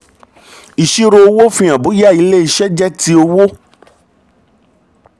ìṣirò owó fihan bóyá ilé iṣẹ́ jẹ́ ti òwò.